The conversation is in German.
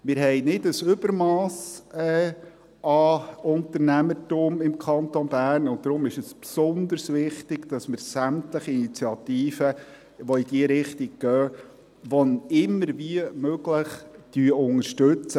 Wir haben nicht ein Übermass an Unternehmertum im Kanton Bern, und deshalb ist es besonders wichtig, dass wir sämtliche Initiativen, welche in diese Richtung gehen, wenn immer irgendwie möglich, unterstützen.